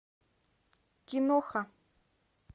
киноха